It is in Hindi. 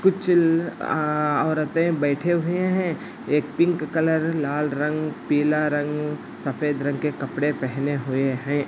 कुछ औ औरते बैठे हुए हे एक पिंक कलर लाल रंग पिला रंग सफ़ेद रंग के कपड़े पेहने हुए हे |